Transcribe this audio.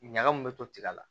Ɲaga mun be to tiga la